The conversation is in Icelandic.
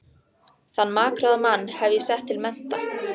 Þann makráða mann hef ég sett til mennta!